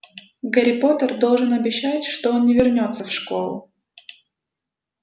гарри поттер должен обещать что он не вернётся в школу